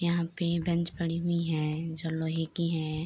यहाँ पे इ बेंच पड़ी हुई है जो लोहे की है |